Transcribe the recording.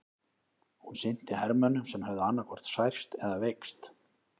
Hún sinnti hermönnum sem höfðu annaðhvort særst eða veikst.